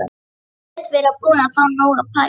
Hún virðist vera búin að fá nóg af París.